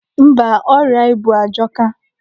Mba, ọrịa ibu ajọka.